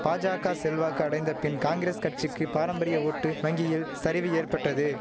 பாஜாக்கா செல்வாக்கு அடைந்தபின் காங்கிரஸ் கட்சிக்கி பாரம்பரிய ஓட்டு வங்கியில் சரிவு ஏற்பட்டது